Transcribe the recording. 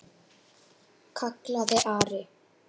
kallaði Ari.